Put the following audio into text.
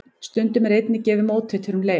Stundum er einnig gefið móteitur um leið.